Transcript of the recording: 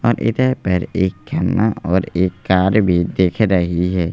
और इधर पर एक खंभा और एक कार भी दिख रही है।